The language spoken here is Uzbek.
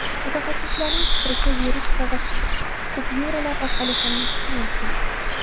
Mutaxassislarning fikricha, virus qog‘oz kupyuralar orqali ham yuqishi mumkin.